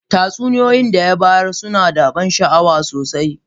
Tatsuniyoyi da ya bayar suna da ban sha'awa sosai.